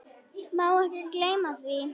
Má ekki gleyma því.